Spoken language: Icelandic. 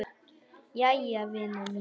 Jæja vina mín.